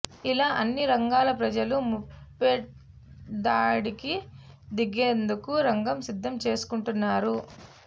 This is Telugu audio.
ఇలా అన్ని రంగాల ప్రజలు ముప్పేటదాడికి దిగేందుకు రంగం సిద్ధం చేసుకుంటున్నారు